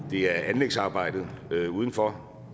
er anlægsarbejdet udenfor